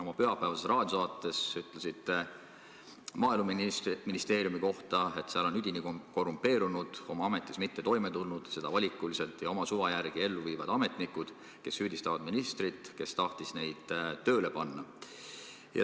Oma pühapäevases raadiosaates ütlesite Maaeluministeeriumi kohta: "Üdini korrumpeerunud, oma ametis mitte toimetulnud, seda valikuliselt ja oma suva järgi ellu viivad ametnikud süüdistavad ministrit, kes tahtis neid tööle panna.